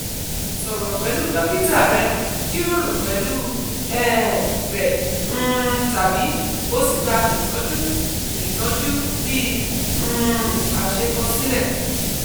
sọ̀rọ̀ pẹlu dokita rẹ jiroro pẹlu um rẹ um tabi o si gba itọju itọju bi um ase kosile